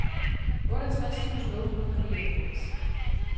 otteogtres tusind otte hundrede og nioghalvfems